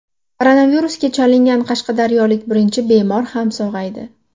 Koronavirusga chalingan qashqadaryolik birinchi bemor ham sog‘aydi.